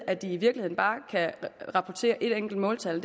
at de i virkeligheden bare kan rapportere et måltal